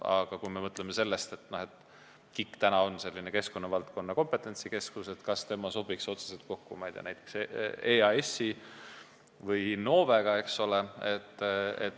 Aga kui mõtleme sellele, et KIK on keskkonnavaldkonna kompetentsikeskus, siis kas ta sobiks otseselt kokku näiteks EAS-i või Innovega?